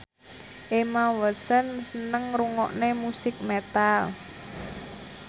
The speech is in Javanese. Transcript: Emma Watson seneng ngrungokne musik metal